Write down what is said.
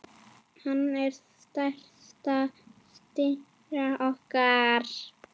Hann er stærsta stjarna okkar.